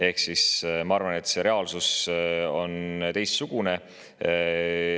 Ehk siis ma arvan, et reaalsus on teistsugune.